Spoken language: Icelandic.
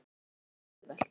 En það er ekki auðvelt.